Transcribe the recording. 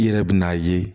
I yɛrɛ bɛ n'a ye